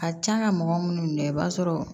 A can ka mɔgɔ minnu minɛ i b'a sɔrɔ